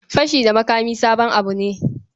Fashi da makami sabon abu ne.